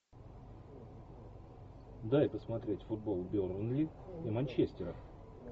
дай посмотреть футбол бернли и манчестера